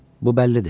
Bu bəllidir.